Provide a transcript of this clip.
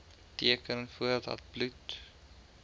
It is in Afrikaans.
teken voordat bloed